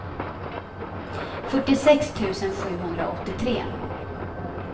fyrtiosex tusen sjuhundraåttiotre